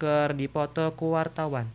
keur dipoto ku wartawan